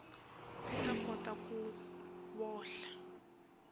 ti ta kota ku vohla